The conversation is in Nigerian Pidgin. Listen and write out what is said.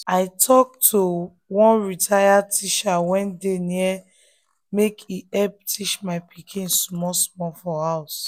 i talk to one retired teacher wey dey near make e help teach my pikin small small for house.